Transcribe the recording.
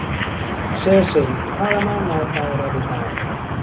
Sesil, hvaða mánaðardagur er í dag?